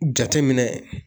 Jateminɛ